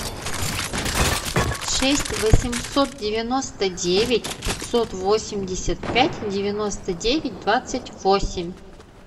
шесть восемьсот девяносто девять пятьсот восемьдесят пять девяносто девять двадцать восемь